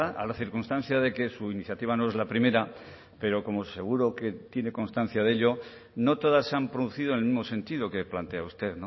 a la circunstancia de que su iniciativa no es la primera pero como seguro que tiene constancia de ello no todas se han producido en el mismo sentido que plantea usted